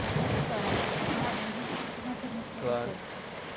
Eu quero explorar esse seu lado, mas antes eu queria fazer uma pergunta para você.